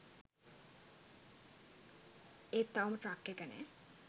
ඒත් තවම ට්‍රක් එක නෑ.